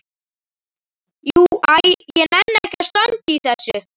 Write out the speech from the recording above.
Jú. æ ég nenni ekki að standa í þessu.